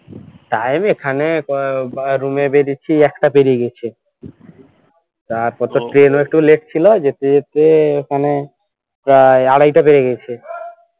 time এখানে ক বা room এ বেরিয়েছি এক টা পেরিয়ে গেছে তারপর তো ট্রেনও একটু late ছিল যেতে যেতে প্রায় ওখানে আড়াইটা বেজে গেছে